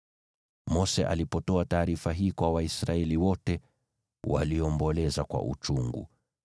Mose alipotoa taarifa hii kwa Waisraeli wote, waliomboleza kwa uchungu.